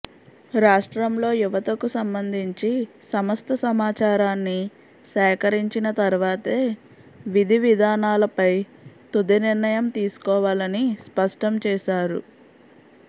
రాష్ట్రంలో యువతకు సంబంధించి సమస్త సమాచారాన్ని సేకరించిన తర్వాతే విధి విధానాలపై తుది నిర్ణయం తీసుకోవాలని స్పష్టం చేశారు